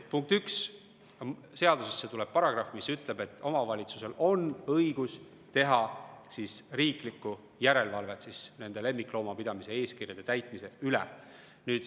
Punkt üks: seadusesse tuleb paragrahv, mis ütleb, et omavalitsusel on õigus teha riiklikku järelevalvet lemmikloomapidamise eeskirjade täitmise üle.